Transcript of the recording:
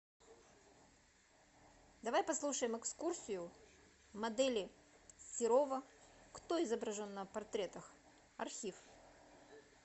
давай послушаем экскурсию модели серова кто изображен на портретах архив